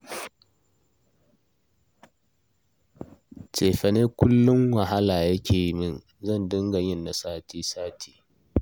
Cefanen kullum wahala yake yi min, zan dinga yin na sati-sati